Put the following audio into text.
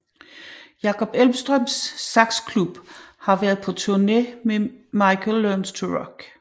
Jakob Elvstrøms Saxclub og har været på turné med Michael Learns To Rock